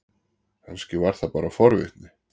Kannski var það bara forvitni.